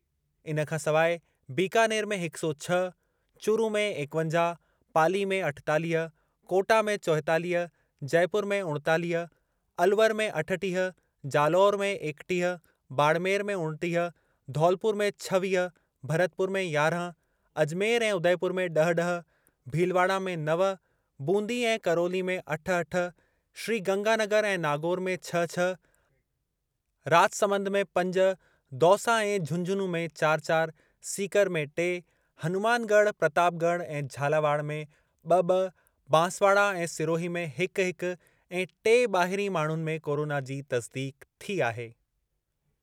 इन खां सवाइ बीकानेर में हिक सौ छह, चूरू में एकवंजाह, पाली में अठेतालीह, कोटा में चोएतालीह, जयपुर में उणेतालीह, अलवर में अठटीह, जालौर में एकटीह, बाड़मेर में उणटीह, धौलपुर में छवीह, भतरपुर में यारहं, अजमेर ऐं उदयपुर में ड॒ह-ड॒ह, भीलवाड़ा में नव, बूंदी ऐं करौली में अठ-अठ, श्रीगंगानगर ऐं नागौर में छह-छह, राजसमंद में पंज, दौसा ऐं झुंझुनूं में चार-चार, सीकर में टे, हनुमानगढ़, प्रतापगढ़ ऐं झालावाड़ में ब॒-ब॒, बांसवाड़ा ऐं सिरोही में हिक-हिक ऐं टे ॿाहिरीं माण्हुनि में कोरोना जी तस्दीक़ु थी आहे।